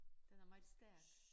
Den er meget stærk